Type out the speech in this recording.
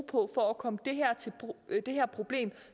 på for at komme det her problem